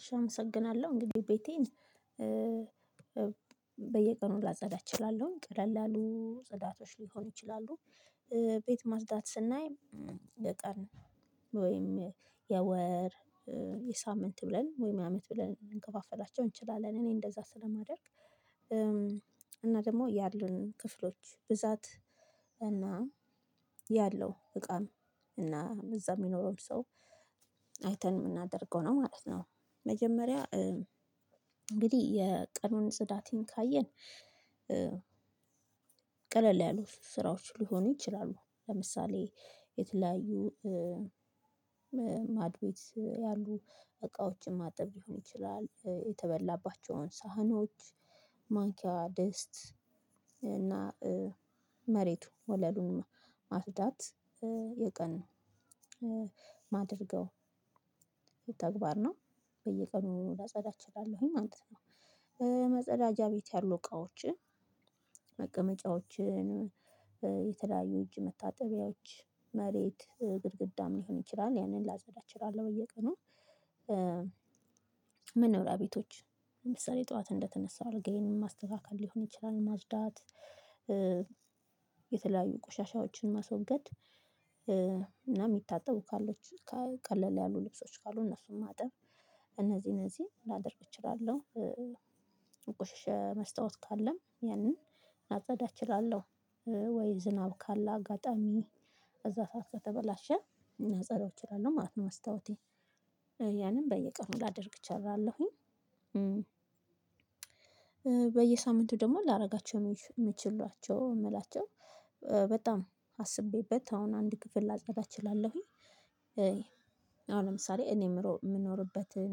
እስ አመሰግናለሁ እንግድህ ቤቴን በየቀኑ ላጸዳ እችላለሁ ቀለል ያሉ ጽዳቶች ሊሆን ይችላሉ። ቤት ማጽዳት ስናይ ለቀን ወይም የወር የሳምንት ብለን ወይም የአመት ብለን ልንከፋፈላቸው እንችላለን። እኔ እንደዛ ስለማደርግ። እና ደግሞ ያሉን ክፍሎች ብዛት እና ያለው እቃም እና እዛ የሚኖረውም ሰው አይተን የምናደርገው ነው ማለት ነው። መጀመሪያ እንግድህ የቀኑን ጽዳቴን ካየን። ቀለል ያሉ ስራዎች ሊሆኑ ይችላሉ። ለምሳሌ የተለያዩ ማድቤት ያሉ እቃዎችን ማጠብ ሊሆን ይችላል። የተበላባቸውን ሳህኖች ማንኪያ ድስት እና መሬቱ ወለሉን ማጥዳት የቀን ነው። ማደርገው ተግባር ነው በየቀኑ ላጸዳ እችላለሁኝ ማለት ነው። መጸዳጃ ቤት ያሉ እቃዎችን መቀመጫዎችን የተለያዩ እጅ መታጠቢያዎች መሬት ግድግዳም ሊሆን ይችላል ያንን ላጸዳ እችላለሁ በየቀኑ። መኖሪያ ቤቶች ለምሳሌ ጠዋት እንደተነሳው አልጋዬን ማስተካከል ሊሆን ይችላል። ማጥዳት የተለያዩ ቆሻሻዎችን ማስወገድ እና የሚታጠቡ ካሉ ቀለል ያሉ ልብሶች ካሉ እነሱን ማጠብ። እነዚህ እነዚህ ላደርግ እችላለሁ። የቆሸሻ መስታወት ካለም ያንን ላጸዳ እችላለሁ። ወይ ዝናብ ካለ አጋጣሚ ባዛ ሰዓት ከተበላሸ ላጸዳው እችላለሁ ማለት ነው። መስታዎቴን ያንን በየቀኑ ላደርግ እችላለሁኝ። በየሳምንቱ ደግሞ ላደርጋቸው የምችሏቸው የምላቸው በጣም አስቤበት አሁን አንድ ክፍል ላጣዳ እችላለሁኝ። አሁን ለምሳሌ እኔ የምኖርበትን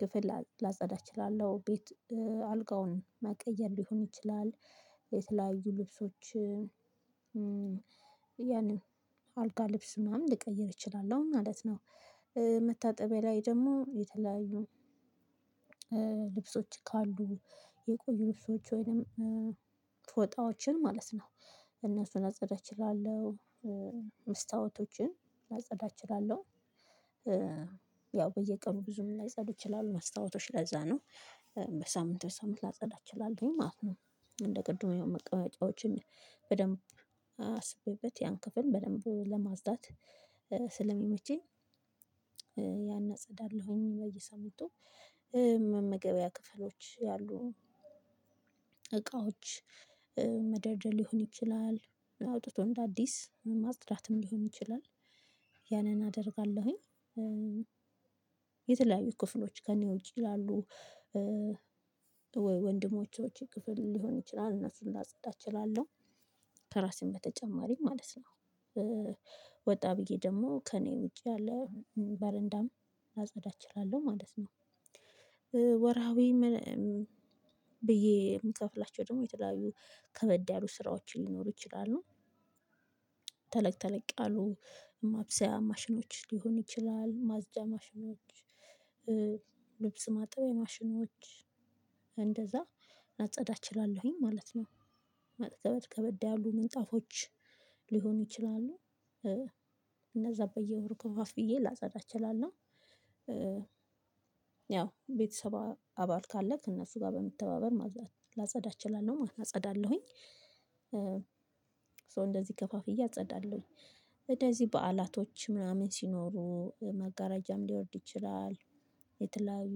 ክፍል ላጸዳ እችላለሁ። ቤት አልጋውን ማቀየር ሊሆን ይችላል። የተለያዩ ልብሶች ያንን አልጋ ልብስ ምናምን ልቀይር እችላለሁ ማለት ነው። መታጠቢያ ላይ ደግሞ የተለያዩ ልብሶች ካሉ የቆዩ ልብሶች ወይንም ፎጣዎችን ማለት ነው። እነሱን ላጸዳ እችላለሁ። መስታወቶችን ላጸዳ እችላለሁ። ያው በየቀኑ ብዙም ላይጸዱ ይችላሉ መስታወቶች ለዛ ነው። በሳምንት በሳምንት ላጸዳ እችላለሁኝ ማለት ነው። እንደ ቅድሙ ያው መቀመጫዎችን በደንብ አስቤበት ያን ክፍል በደንብ ለማጥዳት ስለሚመቸኝ ያን አጽዳለሁኝ በየሳምንቱ። መመገቢያ ክፍሎች ያሉ እቃዎች መደርደር ሊሆን ይችላል አውጥቶ እንደ አዲስ ማጽዳትም ሊሆን ይችላል። ያንን አደርጋለሁኝ። የተለያዩ ክፍሎች ከእኔ ውጪ ላሉ ወንድሞቼዎች ክፍል ሊሆን ይችላል እና እነሱን ላጸዳ እችላለሁ። ከራሴም በተጨማሪ ማለት ነው። ወጣ ብዬ ደግሞ ከእኔ ውጪ ያላ በረንዳም ላጸዳ እችላለሁ ማለት ነው። ወረሃዊም ብዬ የምከፍላቸው ደግሞ የተለያዩ ከበድ ያሉ ስራዎችን ሊኖሩ ይችላሉ። ተለቅ ተለቅ አሉ ማብሰያ ማሽኖች ሊሆን ይችላል ማጸጃ ማሽኖች። ማጠብ የማሽኖች እንደዛ አጸዳ እችላለሁኝ ማለት ነው። ከበድ ያሉ ምንጣፎች ሊሆኑ ይችላሉ። እነዛ በየወር ከፋፍዬ ላጸዳ እችላለሁ። ያው ቤተሰብ አባል ካለክ እነሱ ጋር በመተባበር ላጸዳ እችላለሁ ማለት አጸዳለሁኝ። ሶ እንደዚህ ከፋፍዬ እጸዳለሁኝ እንደዚህ በዓላቶች ምናምን ሲኖሩ መጋረጃም ሊወርድ ይችላል። የተለያዩ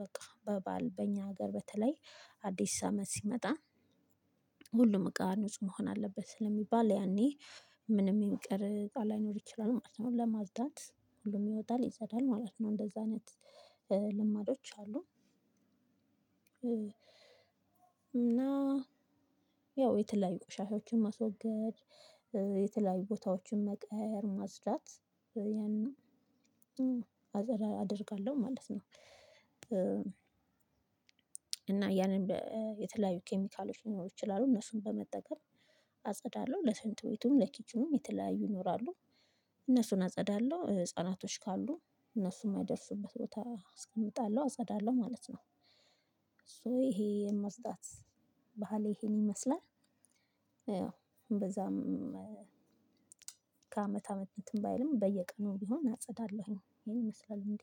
በቃ በበዓል በእኛ ሀገር በተለይ አዲስ አመት ሲመጣ ሁሉም እቃ ንጹህ መሆን አለበት ስለሚባል ያኔ ምንም የሚቀር እቃ ላይኖር ይችላል ማለት ነው ለማጥዳት ሁሉም ይወጣል ይጣዳል ማለት ነው እንደዛ አይነት ልማዶች አሉ። እና ያው የተለያዩ ቆሻሻዎችን ማስወገድ የተለያዩ ቦታዎችን መቀየር ማጥዳት ያንን አደርጋለሁ ማለት ነው። እና ያንን የተለያዩ ኬሚካሎች ሊኖሩ ይችላሉ እነሱን በመጠቀም አጸዳለሁ ለሽንት ቤቱም ለኪችኑም የተለያዩ ይኖራሉ። እነሱን አጸዳለሁ ህፃናቶች ካሉ እነሱ የማይደርሱበት ቦታ አስቀምጣለሁ አጸዳለሁ ማለት ነው። ሶ ይሄ የመጥዳት ባህሌ ይሄን ይመስላል። ያው በዛም ከአመት አመት እንትን ባይልም በየቀኑ ቢሆን አጸዳለሁኝ ይሄን ይመስላል እንዴ?